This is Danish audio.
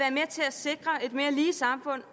sikre et mere lige samfund